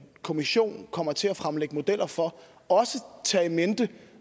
kommissionen kommer til at fremlægge modeller for også tage i mente